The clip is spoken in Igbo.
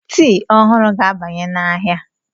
Tii ọhụrụ ga-abanye n'ahịa.